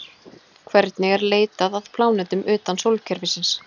Hvernig er leitað að plánetum utan sólkerfisins?